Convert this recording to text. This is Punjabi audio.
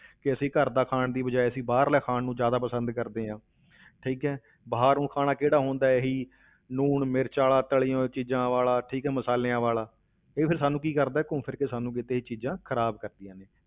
ਕਿ ਅਸੀਂ ਘਰ ਦਾ ਖਾਣ ਦੀ ਬਜਾਏ ਅਸੀਂ ਬਾਹਰਲਾ ਖਾਣ ਨੂੰ ਜ਼ਿਆਦਾ ਪਸੰਦ ਕਰਦੇ ਹਾਂ ਠੀਕ ਹੈ ਬਾਹਰ ਊਂ ਖਾਣਾ ਕਿਹੜਾ ਹੁੰਦਾ ਇਹੀ ਲੂਣ ਮਿਰਚ ਵਾਲਾ ਤਲੀ ਹੋਈ ਚੀਜ਼ਾਂ ਵਾਲਾ, ਠੀਕ ਹੈ ਮਸਾਲਿਆਂ ਵਾਲਾ, ਇਹ ਫਿਰ ਸਾਨੂੰ ਕੀ ਕਰਦਾ ਹੈ ਘੁੰਮ ਫਿਰ ਕੇ ਸਾਨੂੰ ਕਿਤੇ ਇਹ ਚੀਜ਼ਾਂ ਖ਼ਰਾਬ ਕਰਦੀਆਂ ਨੇ।